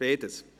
Beides